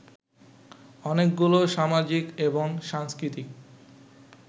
অনেকগুলো সামাজিক এবং সাংস্কৃতিক